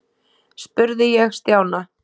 spurði ég Stjána.